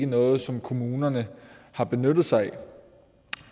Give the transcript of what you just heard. noget som kommunerne har benyttet sig